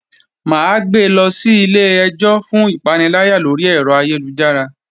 Mà á gbe lọ sí ilé-ẹjọ́ fún ìpaniláyà lórí ẹ̀rọ ayélujára